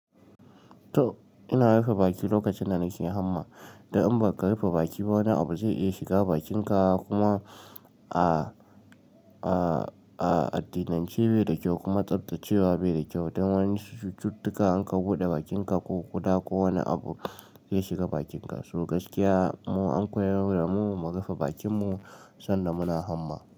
To ina rufe baki lokacin da nake hamma. Dan in ba ka rufe bakin ba wani abu zai iya shiga bakin ka kuma a, a, a addinan ce bai da kyau kuma tsaftacewa bai da kyau. Dan wani cututtuka in ka buɗe bakin ka ko kuda ko wani abu zai shiga bakin ka. So gaskiya mu an koyar da mu mu rufe bakin mu sanda muna hamma.